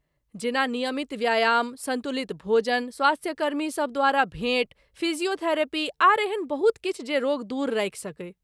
जेना ,नियमित व्यायाम, सन्तुलित भोजन, स्वास्थ्यकर्मी सभ द्वारा भेँट, फिजियोथेरेपी, आर एहन बहुत किछु जे रोग दूर राखि सकै।